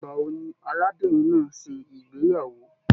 Ìgbà wò ní arábìnrin náà n ṣe ìgbéyàwó?